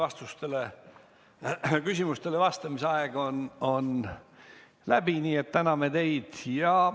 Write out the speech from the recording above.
Ettekande ja küsimustele vastamise aeg on läbi, nii et täname teid.